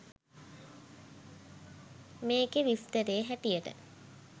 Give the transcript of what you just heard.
මේකෙ විස්තරේ හැටියට